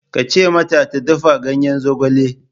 Ka ce mata ta dafa ganyen zogale!